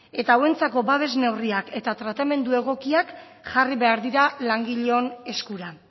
eta hauentzako babes neurriak eta tratamendu egokiak jarri behar dira langileon eskura